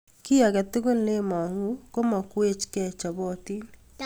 kiy agetugul ne mang'u ko makwech ke chobotin